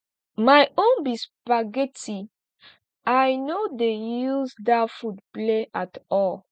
my own be spaghetti i no dey use dat food play at all